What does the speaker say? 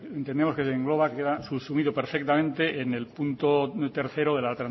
que se engloba queda subsumido perfectamente en el punto tercero de la